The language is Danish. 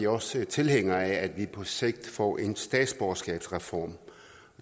også tilhængere af at vi på sigt får en statsborgerskabsreform